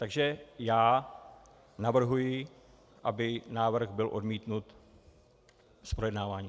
Takže já navrhuji, aby návrh byl odmítnut z projednávání.